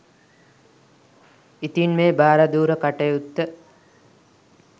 ඉතින් මේ භාරදූර කටයුත්ත